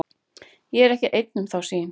Ég er ekki einn um þá sýn.